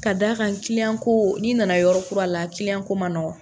Ka d'a kan kiiyan ko n'i nana yɔrɔ kura la, kiliyan ko ma nɔgɔn.